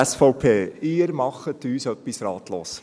Sie machen uns etwas ratlos.